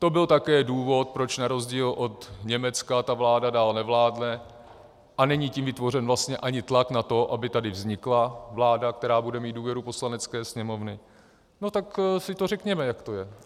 To byl také důvod, proč na rozdíl od Německa ta vláda dál nevládne a není tím vytvořen vlastně ani tlak na to, aby tady vznikla vláda, která bude mít důvěru Poslanecké sněmovny, no tak si to řekněme, jak to je.